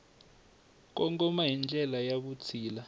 kongoma hi ndlela ya vutshila